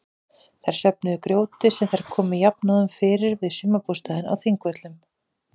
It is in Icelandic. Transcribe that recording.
Þær söfnuðu grjóti sem þær komu jafnóðum fyrir við sumarbústaðinn á Þingvöllum.